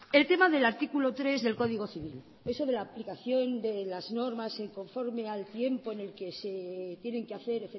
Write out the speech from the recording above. el tema del artículo tres del código civil eso de la aplicación de las normas que conforme al tiempo en el que se tienen que hacer